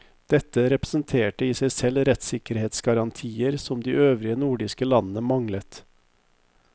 Dette representerte i seg selv rettssikkerhetsgarantier som de øvrige nordiske landene manglet.